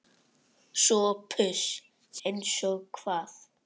SOPHUS: Eins og hvað?